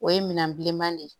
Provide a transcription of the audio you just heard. O ye minɛn bilenman de ye